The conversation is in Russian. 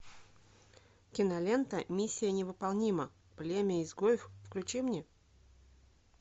кинолента миссия невыполнима племя изгоев включи мне